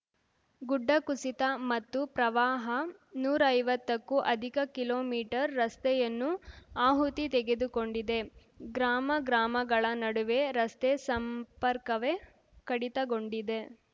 ಗುಡ್ಡ ಕುಸಿತ ಮತ್ತು ಪ್ರವಾಹ ನೂರೈವತ್ತಕ್ಕೂ ಅಧಿಕ ಕಿಲೋಮೀಟರ್ ರಸ್ತೆಯನ್ನು ಆಹುತಿ ತೆಗೆದುಕೊಂಡಿದೆ ಗ್ರಾಮ ಗ್ರಾಮಗಳ ನಡುವೆ ರಸ್ತೆ ಸಂಪರ್ಕವೇ ಕಡಿತಗೊಂಡಿದೆ